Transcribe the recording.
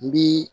N bi